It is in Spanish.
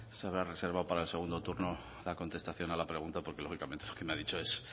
se habrá reservado para el segundo turno la contestación a la pregunta porque lógicamente lo que me ha dicho